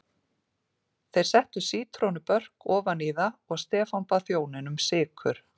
Þeir settu sítrónubörk ofan í það og Stefán bað þjóninn um sykur.